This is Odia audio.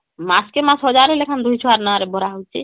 ମାସକେ ମାସ ୧୦୦୦ ଲେଖାଏଁ ଦୁଇ ଛୁଆ ନାଁ ରେ ଭରା ହଉଛି